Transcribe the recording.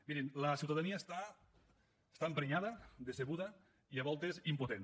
mirin la ciutadania està emprenyada decebuda i a voltes impotent